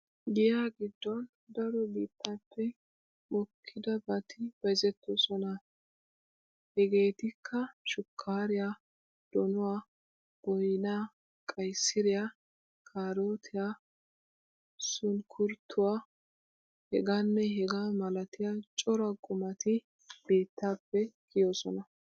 Giya giddon daro biittaappe mokkidabati bayzettoosona. Hegeetikka shukkaariya, donuwa, boynaa, qaysiriya, kaarootiya, sunkkuruutuwa, hegaanne hegaa malatiya cora qumati biittaappe kiyoosona.